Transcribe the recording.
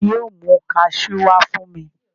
Ta ni yóò mú kaṣú wá fún mi?